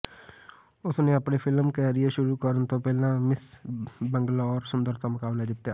ਉਸ ਨੇ ਆਪਣੇ ਫਿਲਮ ਕੈਰੀਅਰ ਸ਼ੁਰੂ ਕਰਨ ਤੋਂ ਪਹਿਲਾਂ ਮਿਸ ਬੰਗਲੌਰ ਸੁੰਦਰਤਾ ਮੁਕਾਬਲਾ ਜਿੱਤੀਆਂ